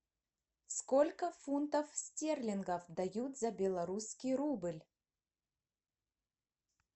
сколько фунтов стерлингов дают за белорусский рубль